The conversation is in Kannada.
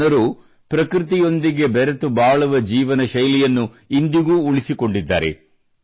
ಈ ಜನರು ಪ್ರಕೃತಿಯೊಂದಿಗೆ ಬೆರೆತು ಬಾಳುವ ಜೀವನಶೈಲಿಯನ್ನು ಇಂದಿಗೂ ಉಳಿಸಿಕೊಂಡಿದ್ದಾರೆ